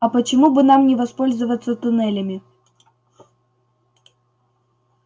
а почему бы нам не воспользоваться туннелями